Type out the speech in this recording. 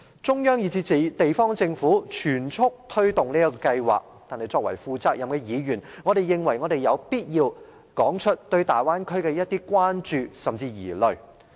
中央以至地方政府全速推動這項計劃。但是，作為負責任的議員，我認為我們有必要說出，對大灣區的一些關注甚至是疑慮。